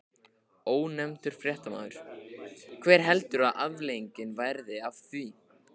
Ónefndur fréttamaður: Hver heldurðu að afleiðingin verði af því?